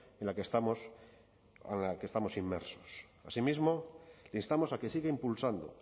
en la que estamos inmersos asimismo le instamos a que siga impulsando